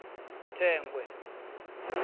thengwe